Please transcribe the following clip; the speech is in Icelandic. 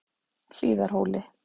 Hlíðarhóli